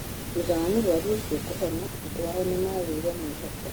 Thutha wa mũrũaru ucio kũhona andũ ao nĩmagĩire mwĩhoko